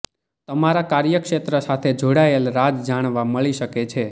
તમારા કાર્યક્ષેત્ર સાથે જોડાયેલ રાઝ જાણવા મળી શકે છે